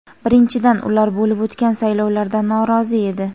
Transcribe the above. Birinchidan, ular bo‘lib o‘tgan saylovlardan norozi edi.